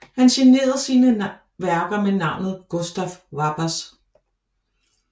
Han signerede sin værker med navnet Gustaf Wappers